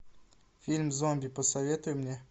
фильм зомби посоветуй мне